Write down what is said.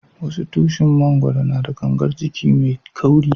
Wasu tushin mangoro na da gangar jiki mai kauri.